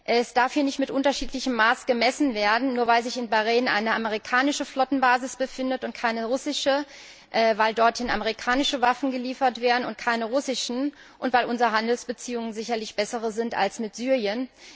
Es darf hier nicht mit unterschiedlichem Maß gemessen werden, nur weil sich in Bahrain eine amerikanische Flottenbasis befindet und keine russische, weil dorthin amerikanische und keine russischen Waffen geliefert werden und weil unsere Handelsbeziehungen sicherlich bessere sind als mit Syrien.